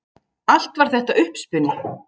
Allt var þetta uppspuni